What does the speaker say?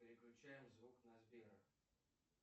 переключаем звук на сбера